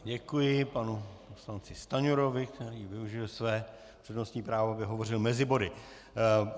Děkuji panu poslanci Stanjurovi, který využil své přednostní právo, aby hovořil mezi body.